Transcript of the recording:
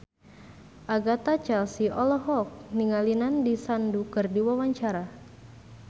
Agatha Chelsea olohok ningali Nandish Sandhu keur diwawancara